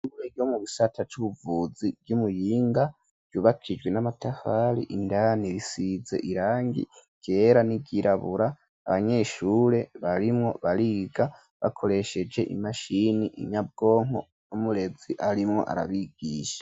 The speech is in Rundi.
Imwegi wo mu bisata c'ubuvuzi vy'umuyinga vyubakijwe n'amatafari indani risize irangi ryera, n'iryirabura, abanyeshure barimwo bariga bakoresheje imashini inyabwonko ,n'umurezi arimwo arabigisha.